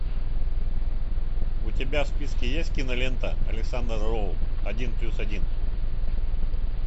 у тебя в списке есть кинолента александра роу один плюс один